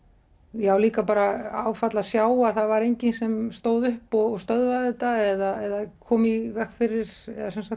já líka bara áfall að sjá að það var enginn sem stóð upp og stöðvaði þetta eða kom í veg fyrir